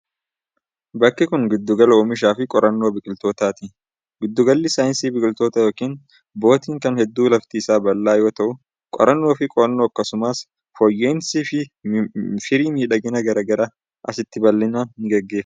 Bakki kun, giddu gala oomisha fi qorannoo biqilootaati. Giddu galli saayinsii biqilootaa yookin bootaanii kun hedduu lafti isaa bal'aa yoo ta'u, qorannoo fi qo'annoo akkasumas fooyya'iinsii firii midhaanii gara garaa asitti bal'inaan ni gaggeeffama.